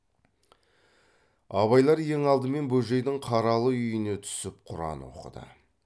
абайлар ең алдымен бөжейдің қаралы үйіне түсіп құран оқыды